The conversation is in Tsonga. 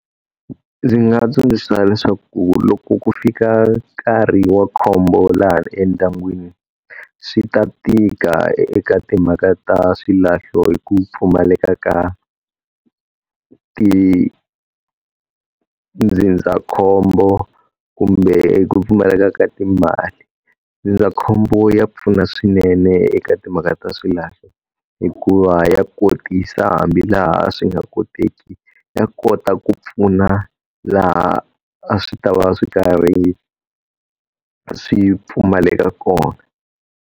Ndzi nga tsundzuxa leswaku loko ku fika nkarhi wa khombo laha endyangwini, swi ta tika eka timhaka ta swilahlo hi ku pfumaleka ka tindzindzakhombo kumbe ku pfumaleka ka timali. Ndzindzakhombo ya pfuna swinene eka timhaka ta swilahlo, hikuva ya kotisa hambi laha swi nga koteki, ya kota ku pfuna laha a swi ta va swi karhi swi pfumaleka kona.